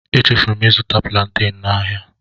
Echefuru m ịzụta plaanten n'ahịa.